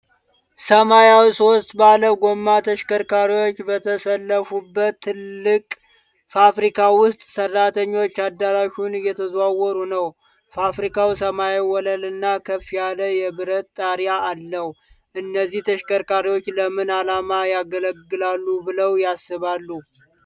ሰማያዊ ሶስት ባለ ጎማ ተሽከርካሪዎች በተሰለፉበት ትልቅ ፋብሪካ ውስጥ፣ ሰራተኞች አዳራሹን እየተዘዋወሩ ነው። ፋብሪካው ሰማያዊ ወለል እና ከፍ ያለ የብረት ጣሪያ አለው። እነዚህ ተሽከርካሪዎች ለምን ዓላማ ያገለግላሉ ብለው ያስባሉ?